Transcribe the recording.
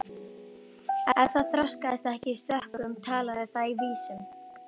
Ef það þroskaðist ekki í stökkum talaði það í vísum.